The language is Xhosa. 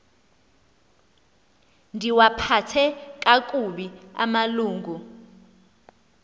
ndiwaphathe kakubi amalungu